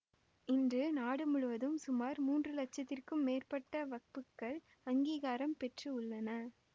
இன்று நாடு முழுவதும் சுமார் மூன்று லட்சத்திற்கும் மேற்ப்பட்ட வக்புக்கள் அங்கீகாரம் பெற்று உள்ளன